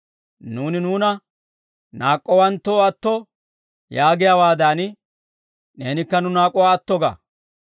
Nuuni nuuna naak'k'owanttoo atto yaagiyaawaadan, neenikka nu naak'uwaa atto ga.